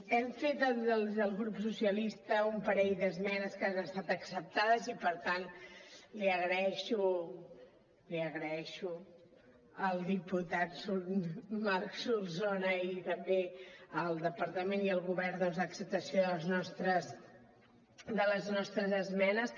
hem fet els del grup socialistes un parell d’esmenes que han estats acceptades i per tant l’hi agraeixo al diputat marc solsona i també al departament i al govern doncs l’acceptació de les nostres esmenes